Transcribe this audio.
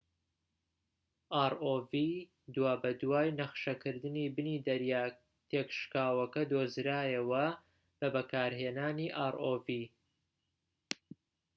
دوابەدوای نەخشەکردنی بنی دەریاکە تێكشکاوەکە دۆزرایەوە بە بەکارهێنانی rov